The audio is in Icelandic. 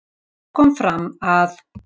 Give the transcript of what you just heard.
Þar kom fram að